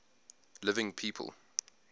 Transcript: living people